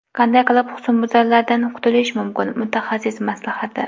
Qanday qilib husnbuzarlardan qutilish mumkin: mutaxassis maslahati.